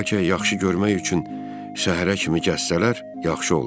Bəlkə yaxşı görmək üçün səhərə kimi gəzsələr, yaxşı olar.